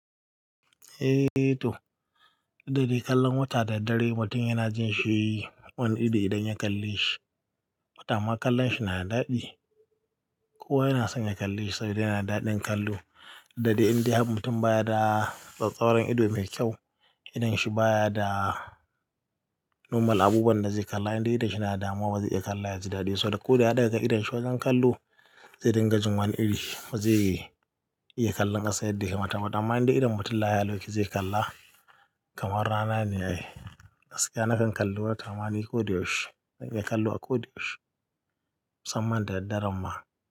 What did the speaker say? Eh toh, dade kallon wata da dare mutum yana jin shi wani ido idan ya kalle shi. Watama kallon shi yana da daɗi. Kowa yana son ya kalle shi saboda yana da daɗin kallo. Da de inde mutum baya da tsattsauran ido mai kyau, idon shi baya da nomal abubuwan da zai kalla. Idan idon shi yana da damuwa ba zai iya kalla yaji daɗi ba. Saboda ko da yada ga idon shi, wajen kallo zai dinga jin wani iri. Ba zai iya kallon ƙasa yadda yake mata ba. To amma idan mutum lahiya lau yake zai kalla kamar rana ne yake. Gaskiya na kan kalli wata ma ni ko da yaushe. Na kan kallo a ko da yaushe musamman da daddare ma.